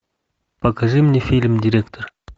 покажи мне фильм директор